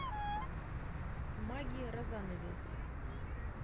маге розанове